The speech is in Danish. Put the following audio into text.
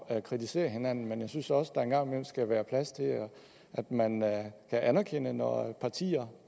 at kritisere hinanden men jeg synes også der en gang imellem skal være plads til at man kan anerkende når partier